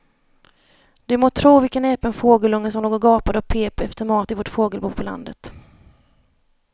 Du må tro vilken näpen fågelunge som låg och gapade och pep efter mat i vårt fågelbo på landet.